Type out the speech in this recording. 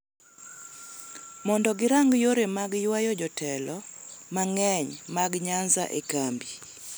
mondo girang yore mag ywayo jotelo mang�eny mag Nyanza e kambi.